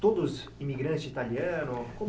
Todos imigrante italiano? Como